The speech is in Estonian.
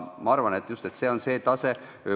Ma arvan, et see on just see tase.